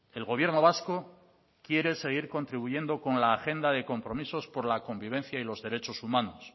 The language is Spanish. el gobierno vasco quiere seguir contribuyendo con la agenda de compromisos con la convivencia y los derechos humanos